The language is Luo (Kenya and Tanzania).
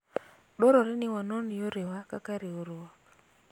dwarore ni wanon yorewa kaka riwruok